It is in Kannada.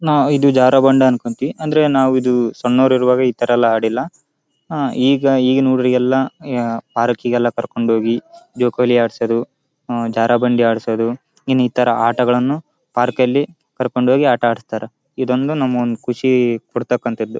ನಾವು ಇದು ಜಾರು ಬಂಡೆ ಅಂದ್ಕೋತೀವಿ ಅಂದ್ರೆ ನಾವು ಸನ್ನೋರ್ ಇರೋವಾಗ ಈ ತರ ಎಲ್ಲ ಅಡಿಲ್ಲ ಈಗ ಈಗಿನ ಹುಡುಗ್ರಿಗೆಲ್ಲ ಪಾರ್ಕಿಗೆಲ್ಲ ಕರ್ಕೊಂಡ್ ಹೋಗಿ ಜೋಕಾಲಿ ಆಡ್ಸೋದು ಜಾರು ಬಂಡೆ ಆಡ್ಸೋದು ಇನ್ನಿತರ ಆಟಗಳನ್ನು ಪಾರ್ಕಲ್ಲಿ ಕರ್ಕೊಂಡ್ ಹೋಗಿ ಆಟ ಆಡಿಸ್ತಾರಾ ಇದೊಂದು ನಮ್ಮ ಒಂದು ಖುಷಿ ಪಡುವಂಥದ್ದು.